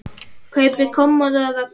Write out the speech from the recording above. Kaupi kommóðu og vöggu.